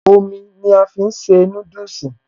Omi ni a fi ń se núdùsì